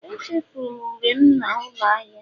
Echefuru m unere'm na ụlọ ahịa